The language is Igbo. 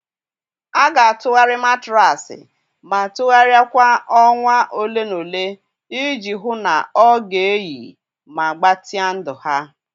A ga-atụgharị matraasi ma tụgharịa kwa ọnwa ole na ole iji hụ na ọ ga-eyi ma gbatịa ndụ ha.